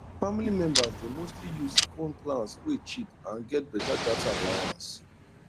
family members dey mostly use phone plans wey cheap and get better data allowance